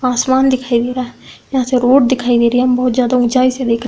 आसमान दिखाई दे रहा है। यहां से रोड दिखाई दे रही। बहोत ज्यादा उचाई से दिख रहा --